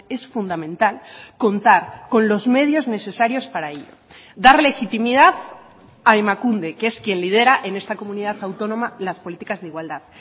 es fundamental contar con los medios necesarios para ello dar legitimidad a emakunde que es quien lidera en esta comunidad autónoma las políticas de igualdad